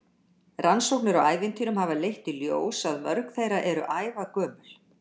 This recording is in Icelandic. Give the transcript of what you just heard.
Rannsóknir á ævintýrum hafa leitt í ljós að mörg þeirra eru ævagömul.